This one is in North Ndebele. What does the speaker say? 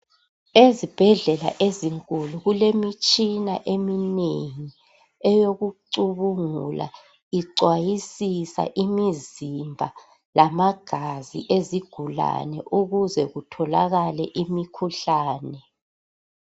Ezibhedlela ezinkulu kulemitshina eminengi, eyokucubungula, icwayisisa imizimba lamagazi ezigulane ukuze kutholakale imikhuhlane.